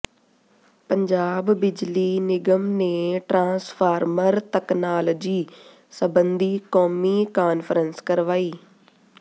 ਪੰਜਾਬ ਬਿਜਲੀ ਨਿਗਮ ਨੇ ਟਰਾਂਸਫ਼ਾਰਮਰ ਤਕਨਾਲੋਜੀ ਸਬੰਧੀ ਕੌਮੀ ਕਾਨਫ਼ਰੰਸ ਕਰਵਾਈ